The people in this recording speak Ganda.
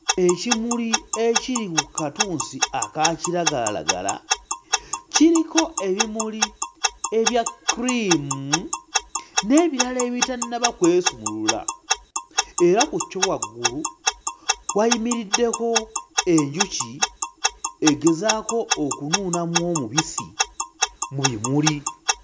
Ekimuli kiri ku katunsi aka kiragalalagala, kiriko ebimuli ebya kkuliimu n'ebirala ebitannaba kwesumulula, era ku kyo waggulu wayimiriddeko enjuki egezaako okunuunamu omubisi mu bimuli.